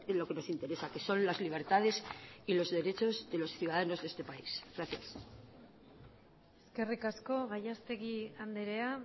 lo que nos interesa que son las libertades y los derechos de los ciudadanos de este país gracias eskerrik asko gallastegui andrea